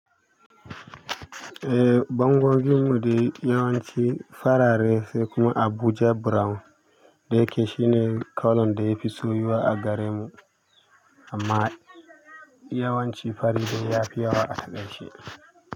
Eh, bangonmu dai yawanci farare se kuma Abuja brown da ya ke shi ne launin da ya fi soyuwa a gare mu amma yawanci fari dai ya fi yawa a haɗa shi.